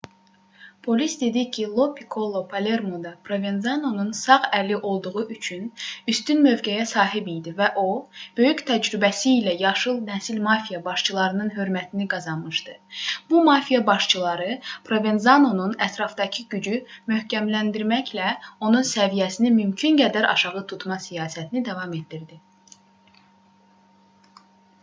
polis dedi ki lo pikkolo palermoda provenzanonun sağ əli olduğu üçün üstün mövqeyə sahib idi və o böyük təcrübəsi ilə yaşlı nəsil mafiya başçılarının hörmətini qazanmışdı bu mafiya başçıları provenzanonun ətrafdakı gücü möhkəmləndirməklə onun səviyyəsini mümkün qədər aşağı tutma siyasətini davam etdirirdi